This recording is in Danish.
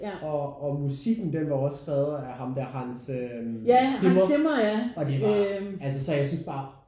Og og musikken den var også skrevet af ham der Hans øh Zimmer og det var altså så jeg synes bare